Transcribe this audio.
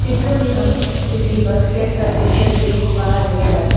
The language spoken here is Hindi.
में हम किसी बस स्टैंड का दृश्य देख पा रहे हैं।